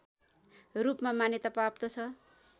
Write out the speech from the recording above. रूपमा मान्यता प्राप्त छ